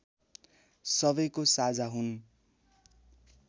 सबैको साझा हुन्